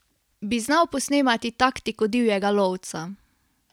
Bi znal posnemati taktiko divjega lovca?